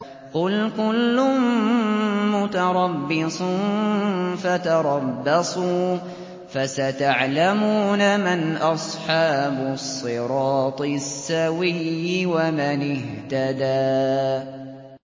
قُلْ كُلٌّ مُّتَرَبِّصٌ فَتَرَبَّصُوا ۖ فَسَتَعْلَمُونَ مَنْ أَصْحَابُ الصِّرَاطِ السَّوِيِّ وَمَنِ اهْتَدَىٰ